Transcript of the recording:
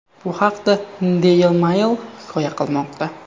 Bu haqda Daily Mail hikoya qilmoqda .